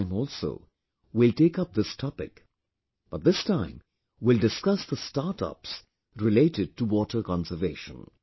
This time also we will take up this topic, but this time we will discuss the startups related to water conservation